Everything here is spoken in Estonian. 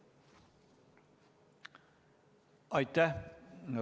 Aitäh!